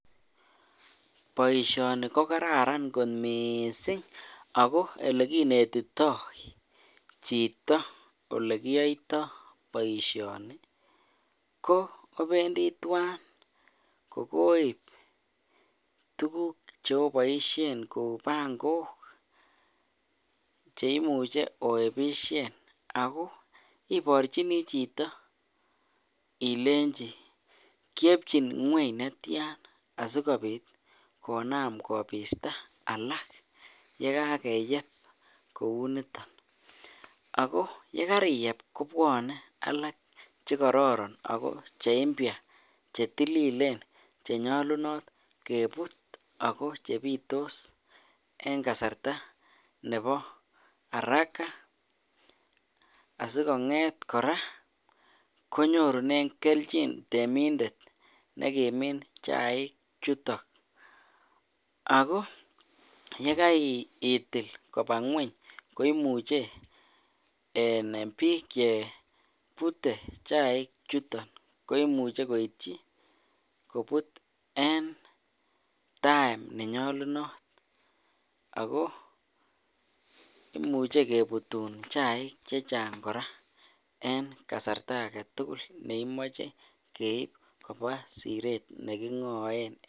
Boishoni ko kararan kot mising akoo elekinetitoi chito olekiyoito boishoni ko obendi twaan kokoib tukuk choboishen kouu pangok cheimuche oebishen akoo iborchini chito ilenchi kiyebchin ngweny netian asikobit konaam kobista alak yekakeyeb kouniton, ak ko yekariyeb kobwone alak chekororon ak ko cheimpya chetililen chenyolunot kebut ak ko chebitos en kasarta neboo araka asikong'et kora konyorunen kelchin temindet nekimin chaik chuton ak ko yekaitil kobaa ngweny ko imuche en biik chebute chaichuton koimuche koityi kobut en time ne nyolunot ak ko imuche kebutun chaik chechang kora en kasarta aketukul neimoche keib kobaa sireet neking'oen.